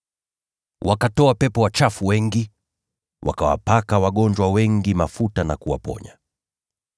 Wakatoa pepo wachafu wengi, wakawapaka wagonjwa wengi mafuta na kuwaponya.